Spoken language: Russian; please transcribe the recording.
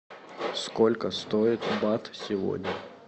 сколько стоит бат сегодня